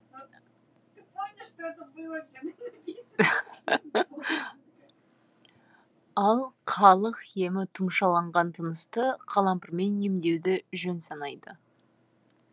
ал халық емі тұмшаланған тынысты қалампырмен емдеуді жөн санайды